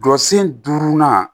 Jɔ sen durunan